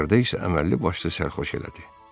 axırda isə əməlli başlı sərxoş elədi.